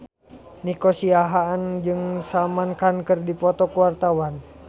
Nico Siahaan jeung Salman Khan keur dipoto ku wartawan